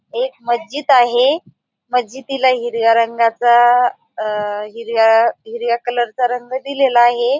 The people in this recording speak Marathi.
एक मस्जिद आहे मस्जिदी ला हिरव्या रंगाचा अंह हिरव्या हिरव्या कलरचा रंग दिलेला आहे.